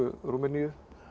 Rúmeníu